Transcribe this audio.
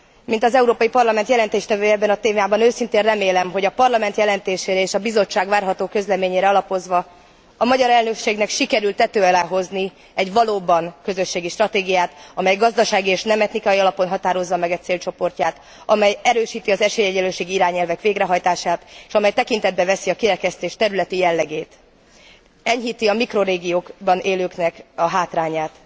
Mint az Európai Parlament jelentéstevője ebben a témában, őszintén remélem, hogy a Parlament jelentésére és a Bizottság várható közleményére alapozva a magyar elnökségnek sikerül tető alá hozni egy valóban közösségi stratégiát, amely gazdasági és nem etnikai téren határozza meg e célcsoportját, amely erősíti az esélyegyenlőség iránti irányelvek végrehajtását, és amely tekintetbe veszi a kirekesztés területi jellegét, enyhíti a mikrorégiókban élőknek a hátrányát.